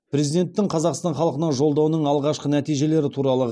президенттің қазақстан халқына жолдауының алғашқы нәтижелері туралы